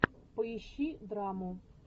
поищи драму